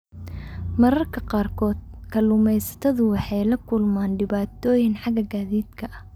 Mararka qaarkood, kalluumaysatadu waxay la kulmaan dhibaatooyin xagga gaadiidka ah.